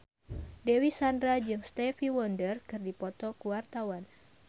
Dewi Sandra jeung Stevie Wonder keur dipoto ku wartawan